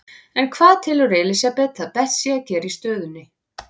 En hvað telur Elísabet að best sé að gera í stöðunni?